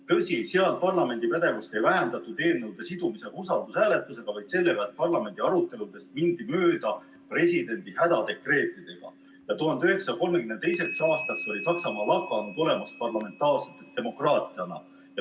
Tõsi, seal parlamendi pädevust ei vähendatud mitte eelnõu sidumisega usaldushääletusega, vaid sellega, et parlamendi aruteludest mindi mööda presidendi hädadekreetidega, ja 1932. aastaks oli Saksamaa lakanud olemast parlamentaarse demokraatiana.